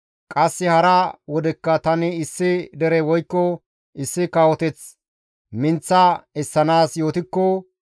Qasse hara wodekka tani issi dere woykko issi kawoteth minththa essanaas yootikko,